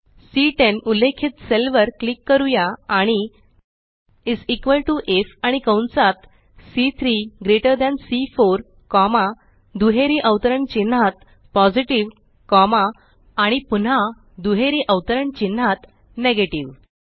C10 उल्लेखित cell वर click करूया आणि इस इक्वॉल टीओ IFआणि कंसात सी3 ग्रेटर थान सी4 कॉमा दुहेरी अवतरण चिन्हात पॉझिटिव्ह कॉमा आणि पुन्हा दुहेरी अवतरण चिन्हात नेगेटिव्ह